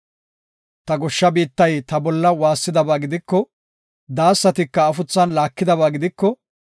“Ta goshsha biittay ta bolla waassidaba gidiko, daasatika afuthan laakidaba gidiko,